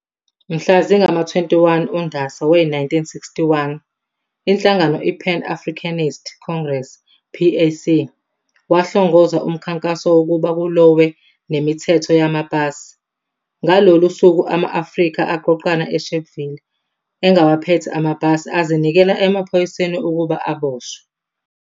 Mhla zingama-21 uNdasa we-1961 inhlangano i-"Pan Africanist Congress, PAC" wahlongoza umkhankaso wokuba kulowe nemithetho yamapasi. Ngalolu suku ama-Afrika aqoqana eSharpville engawaphethe amapasi azinikela empahoyiseni ukuba aboshwe.